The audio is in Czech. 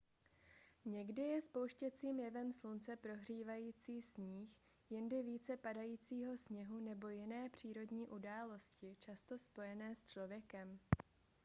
někdy je spouštěcím jevem slunce prohřívající sníh jindy více padajícího sněhu nebo jiné přírodní události často spojené s člověkem